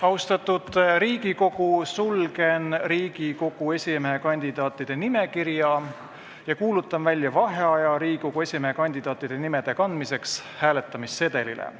Austatud Riigikogu, sulgen Riigikogu esimehe kandidaatide nimekirja ja kuulutan välja vaheaja Riigikogu esimehe kandidaatide nimede kandmiseks hääletamissedelitele.